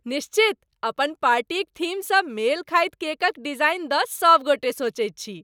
निश्चित! अपन पार्टीक थीमसँ मेल खाइत केकक डिजाइन दऽ सबगोटे सोचैत छी।